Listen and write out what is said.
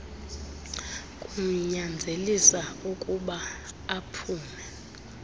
kumnyanzelisa ukuyba aphume